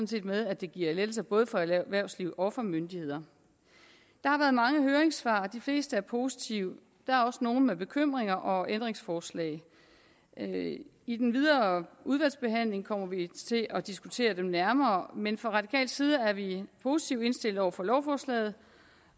set med at det giver lettelser både for erhvervsliv og for myndigheder der har været mange høringssvar og de fleste er positive der er også nogle med bekymringer og ændringsforslag i den videre udvalgsbehandling kommer vi til at diskutere dem nærmere men fra radikal side er vi positivt indstillet over for lovforslaget